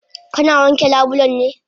Kana wanke labulen ne?